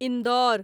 Indore